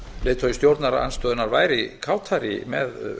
að leiðtogi stjórnarandstöðunnar væri kátari með